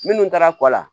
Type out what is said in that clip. Minnu taara kɔ la